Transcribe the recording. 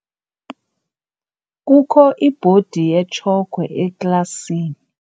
Kukho ibhodi yetshokhwe eklasini.